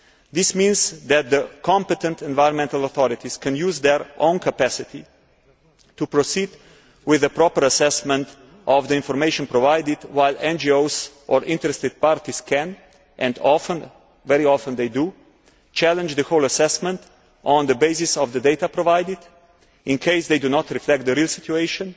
This means that the competent environmental authorities can use their own capacity to proceed with a proper assessment of the information provided, while NGOs or interested parties can and very often do challenge the whole assessment on the basis of the data provided, in case they do not reflect the real situation